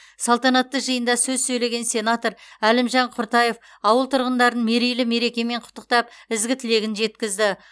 салтанатты жиында сөз сөйлеген сенатор әлімжан құртаев ауыл тұрғындарын мерейлі мерекемен құттықтап ізгі тілегін жеткізді